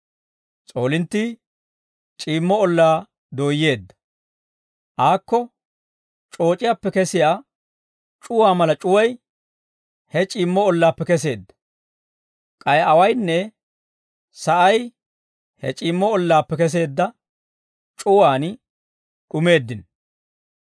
S'oolinttii c'iimmo ollaa dooyyeedda; aako c'ooc'iyaappe kesiyaa c'uwaa mala c'uway he c'iimmo ollaappe kesseedda. K'ay awaynne sa'ay he c'iimmo ollaappe keseedda c'uwaan d'umeeddino.